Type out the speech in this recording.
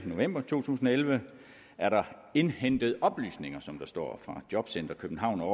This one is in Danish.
november to tusind og elleve er der indhentet oplysninger som der står fra jobcenter københavn og